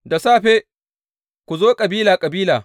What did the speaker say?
Da safe ku zo kabila kabila.